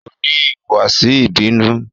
O ni ihuwasi ibinu